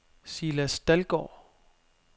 Silas Dahlgaard